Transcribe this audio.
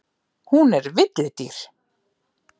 Hún er villidýr.